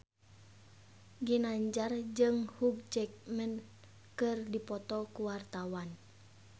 Ginanjar jeung Hugh Jackman keur dipoto ku wartawan